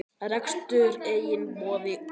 Rekstur einnig boðinn út.